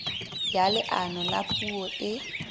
ya leano la puo e